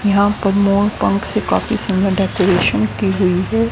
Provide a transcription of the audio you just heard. यहां पर मोर पंख से काफी सुंदर डेकोरेशन की हुई है।